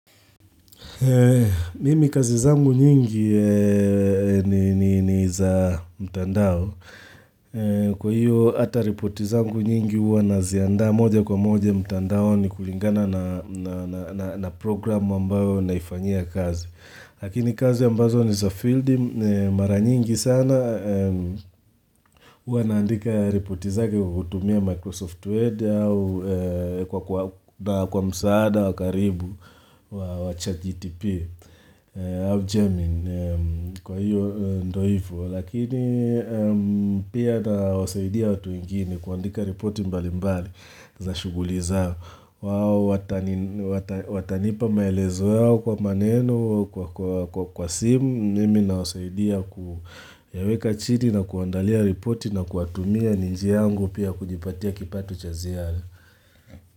Mimi kazi zangu nyingi ni za mtandao. Kwa hiyo ata ripoti zangu nyingi huwa naziandaa moja kwa moja mtandaoni kulingana na programu ambayo naifanyia kazi. Lakini kazi ambazo ni za fieldi mara nyingi sana huwa naandika repoti zake kwa kutumia Microsoft Word au kwa msaada wa karibu wa chatGTP. Au Gemini, kwa hiyo ndo hivo, lakini pia nawasaidia watu wenginie kuandika ripoti mbali mbali za shughuli zao. Wao watanipa maelezo yao kwa maneno, kwa simu, mimi nawasaidia kuyaweka chini na kuandalia ripoti na kuwatumia ni njia yangu pia kujipatia kipato cha ziara.